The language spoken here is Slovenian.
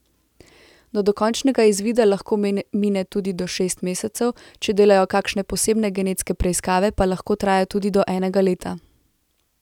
Do dokončnega izvida lahko mine tudi do šest mesecev, če delajo kakšne posebne genetske preiskave, pa lahko traja tudi do enega leta.